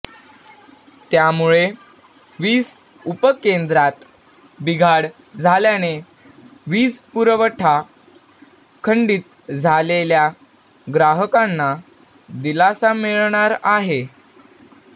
त्यामुळे वीज उपपेंद्रात बिघाड झाल्याने वीज पुठवठा खंडित झालेल्या ग्राहकांना दिलासा मिळणार आहे